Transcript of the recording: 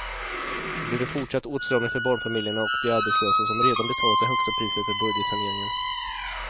Då blir det fortsatt åtstramning för barnfamiljerna och de arbetslösa som redan betalat det högsta priset för budgetsaneringen.